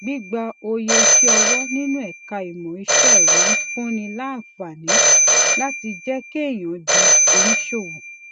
gbígba òye iṣẹ ọwọ nínú ẹka ìmọ iṣẹ ẹrọ ń fúnni láǹfààní láti jẹ kéèyàn di oníṣòwò